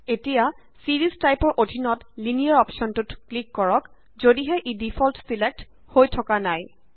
এতিয়া series type ৰ অধীনত লিনিয়েৰ অপশ্যনটোত ক্লিক কৰ যদিহে ই ডিফল্ট ছিলেক্ট হৈ থকা নাই